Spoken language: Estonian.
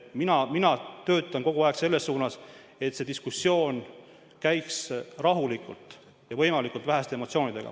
Mina töötan kogu aeg selle nimel, et see diskussioon käiks rahulikult ja võimalikult väheste emotsioonidega.